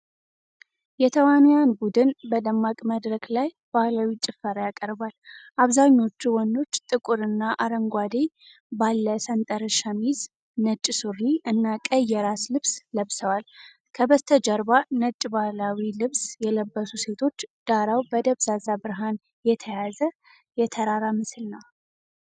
የተዋንያን ቡድን በደማቅ መድረክ ላይ ባህላዊ ጭፈራ ያቀርባል። አብዛኞቹ ወንዶች ጥቁርና አረንጓዴ ባለ ሰንጠረዥ ሸሚዝ፣ ነጭ ሱሪ እና ቀይ የራስ ልብስ ለብሰዋል። ከበስተጀርባ ነጭ ባህላዊ ልብስ የለበሱ ሴቶች፣ ዳራው በደብዛዛ ብርሃን የተያዘ የተራራ ምስል ነው።